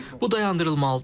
Bu dayandırılmalıdır.